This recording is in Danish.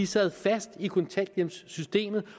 sad fast i kontanthjælpssystemet